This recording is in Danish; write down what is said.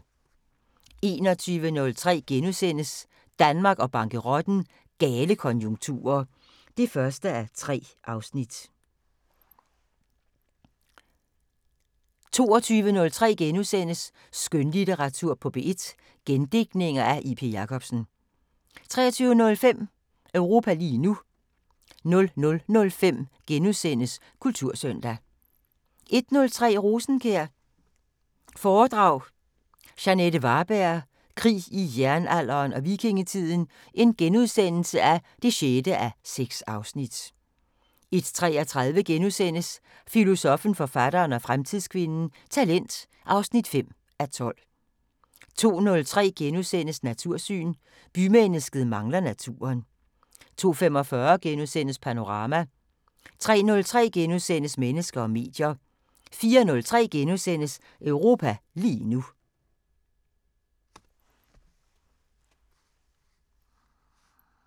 21:03: Danmark og bankerotten: Gale konjunkturer (1:3)* 22:03: Skønlitteratur på P1: Gendigtninger af J.P. Jacobsen * 23:05: Europa lige nu * 00:05: Kultursøndag * 01:03: Rosenkjær foredrag – Jeanette Varberg: Krig i Jernalderen og Vikingetiden (6:6)* 01:33: Filosoffen, forfatteren og fremtidskvinden: Talent (5:12)* 02:03: Natursyn: Bymennesket mangler naturen * 02:45: Panorama * 03:03: Mennesker og medier * 04:03: Europa lige nu *